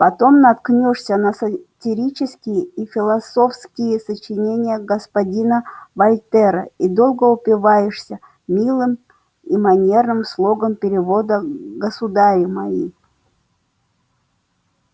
потом наткнёшься на сатирические и философские сочинения господина вольтера и долго упиваешься милым и манерным слогом перевода государи мои